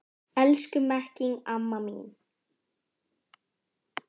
Elsku Mekkín amma mín.